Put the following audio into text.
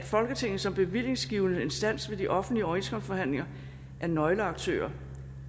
folketinget som bevillingsgivende instans ved de offentlige overenskomstforhandlinger nøgleaktør